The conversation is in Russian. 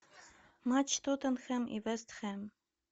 матч тоттенхэм и вест хэм